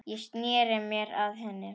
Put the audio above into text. Ég sneri mér að henni.